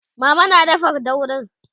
mama na dafa daurin